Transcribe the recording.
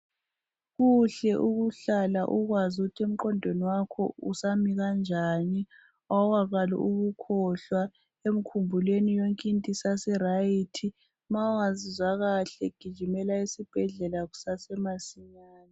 Kuhle ukuhlala ukwazi ukuthi emgqondweni wakho usami kanjani awukaqali ukukhohlwa emkhumbulweni yonke into isaseryt ma ungazizwa kahle gijimela esibhedlela kusasemasinyane